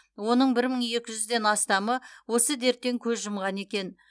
оның бір мың екі жүзден астамы осы дерттен көз жұмған екен